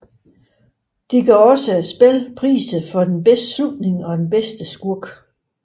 De gav også spillet priser for den bedste slutning og bedste skurk